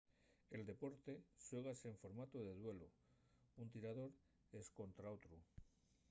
el deporte xuégase en formatu de duelu un tirador escontra otru